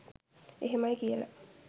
එහෙමයි කියල